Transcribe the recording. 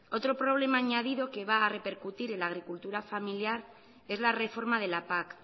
otro problema añadido que va a repercutir en la agricultura familiar es la reforma de la pac